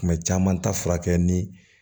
Tuma caman ta furakɛ ni